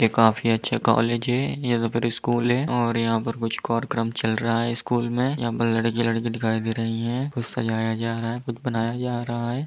ये काफी अच्छा कॉलेज है या तो फिर स्कूल है और यहाँ पर कुछ कार्यक्रम चल रहा है स्कूल में यहाँ पर लड़के लड़की दिखाई दे रही है कुछ सजाया जा रहा है कुछ बनाया जा रहा है।